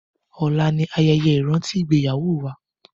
Ọla ni ayẹyẹ ìrántí ìgbéyàwó wa